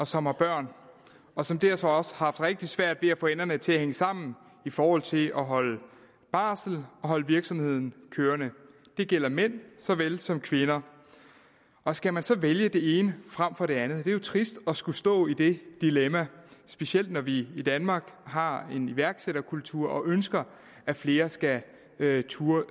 og som har børn og som derfor også har haft rigtig svært ved at få enderne til at hænge sammen i forhold til at holde barsel og holde virksomheden kørende det gælder mænd så vel som kvinder og skal man så vælge det ene frem for det andet det er jo trist at skulle stå i det dilemma specielt når vi i danmark har en iværksætterkultur og ønsker at flere skal turde